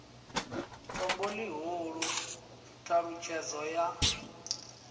tombo ḽihulu t halutshedzo ya